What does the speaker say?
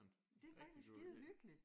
Det er rigtig skide hyggeligt!